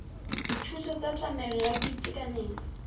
dithuso tsa tlamelo ya boitekanelo